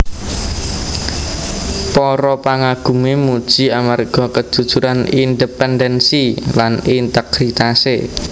Para pangagumé muji amarga kejujuran independensi lan integritasé